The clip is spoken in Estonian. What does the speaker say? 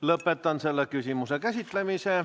Lõpetan selle küsimuse käsitlemise.